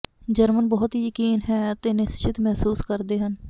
German ਬਹੁਤ ਹੀ ਯਕੀਨ ਹੈ ਅਤੇ ਨਿਸਚਿੰਤ ਮਹਿਸੂਸ ਕਰਦੇ ਹਨ